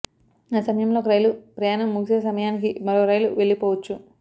ఆ సమయంలో ఒక రైలు ప్రయాణం ముగిసే సమయానికి మరో రైలు వెళ్లిపోవచ్చు